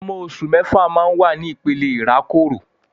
Ọmọ oṣù mẹ́fà máa ń wà ní ìpele ìrákòrò